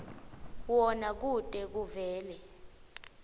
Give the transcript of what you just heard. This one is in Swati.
wona kute kuvele